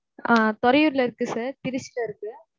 ஆஹ் பொறையூர்ல இருக்கு sir. திருச்சில இருக்கு.